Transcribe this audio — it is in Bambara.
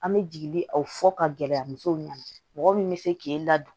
An bɛ jigi aw fɔ ka gɛlɛya musow ɲɛna mɔgɔ min bɛ se k'e ladon